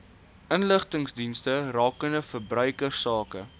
inligtingsdienste rakende verbruikersake